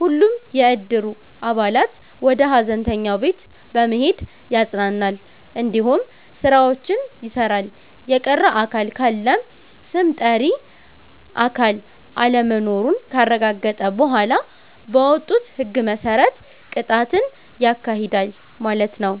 ሁሉም የዕድሩ አባላት ወደ ሀዘንተኛዉ ቤት በመሄድ ያፅናናል እንዲሁም ስራዎችን ይሰራል። የቀረ አካል ካለም ስም ጠሪ አካል አለመኖሩን ካረጋገጠ በኋላ ባወጡት ህግ መሰረት ቅጣትን ያካሂዳል ማለት ነዉ።